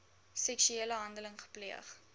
seksuele handeling gepleeg